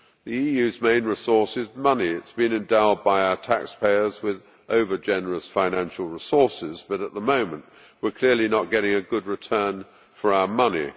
The EU's main resource is money it has been endowed by our taxpayers with over generous financial resources. However, at the moment we are clearly not getting a good return for our money.